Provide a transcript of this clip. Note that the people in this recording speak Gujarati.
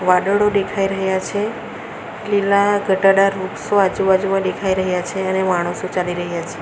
વાડળો દેખાય રહ્યા છે લીલા ઘટાડાર વૃક્ષો આજુબાજુમાં દેખાય રહ્યા છે અને માણસો ચાલી રહ્યા છે.